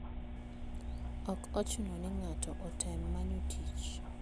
Ok ochuno ni ng'ato otem manyo tich.